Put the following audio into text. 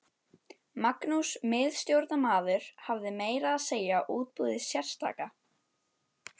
Magnús miðstjórnarmaður hafði meira að segja útbúið sérstaka